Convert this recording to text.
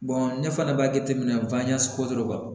ne fana b'a jateminɛ